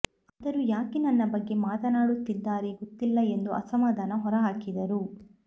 ಆದರೂ ಯಾಕೆ ನನ್ನ ಬಗ್ಗೆ ಮಾತನಾಡುತ್ತಿದ್ದಾರೆ ಗೊತ್ತಿಲ್ಲ ಎಂದು ಅಸಮಾಧಾನ ಹೊರ ಹಾಕಿದರು